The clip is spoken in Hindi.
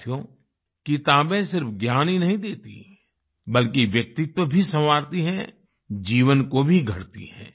साथियो किताबें सिर्फ ज्ञान ही नहीं देतीं बल्कि व्यक्तित्व भी संवारती हैं जीवन को भी गढ़ती हैं